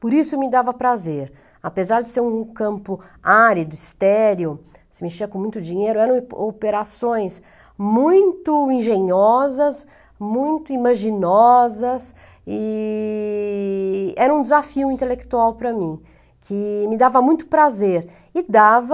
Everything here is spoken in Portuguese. Por isso me dava prazer, apesar de ser um campo árido, estéreo, se mexia com muito dinheiro, eram ope operações muito engenhosas, muito imaginosas e era um desafio intelectual para mim, que me dava muito prazer e dava...